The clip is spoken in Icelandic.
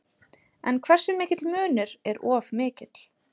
En hversu mikill munur er of mikill?